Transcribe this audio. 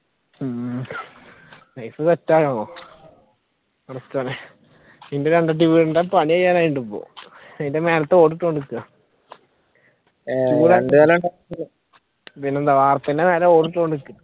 ഉം life set ആണല്ലോ set ആണ് പിന്നെ എന്റെ വീടിന്റെ പണിചെയ്യാറായുണ്ട് ഇപ്പൊ അതിന്റെ മേളിത്തെ ഓട് ഇട്ടോണ്ടിരിക്കുവാ പിന്നെന്താ അർച്ചിന്റെ മേലെ ഓടികൊണ്ടിരിക്കുകയാണ്